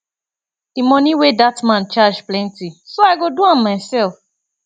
the money wey dat man charge plenty so i go do am myself